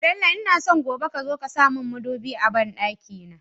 Bello ina so gobe kazo ka samun mudubi a banɗaki na